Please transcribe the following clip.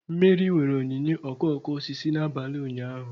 Meri nwere onyinye okooko osisi n'abalị ụnyaahụ.